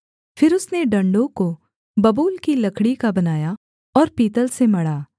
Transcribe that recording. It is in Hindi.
फिर उसने डण्डों को बबूल की लकड़ी का बनाया और पीतल से मढ़ा